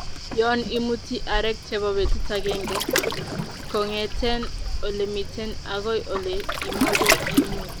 yon imuti areek chebo betut agenge kongeten ole miten agoi ole imoche imut